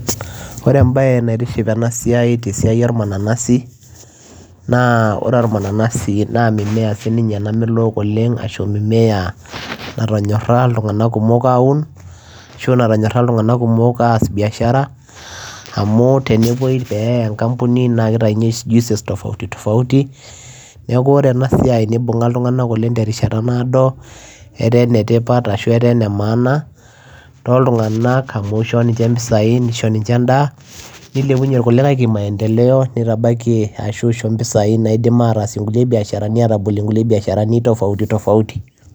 Oree embayee naitiship tena siai ornanasi naa mimea namelok netonyora si ilntunganak kumok as biashara neyaa enkambuni nitayuu j juices tofauti imbunga ena siai ilntunganak enkataa naado ishooo nijne mpisai endaa nilepunyie maendeleo